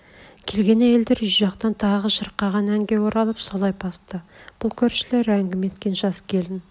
келген әйелдер үй жақтан тағы шырқаған әнге оралып солай басты бұл көршілер әңгіме еткен жас келін